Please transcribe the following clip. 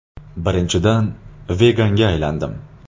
Birinchidan, veganga aylandim.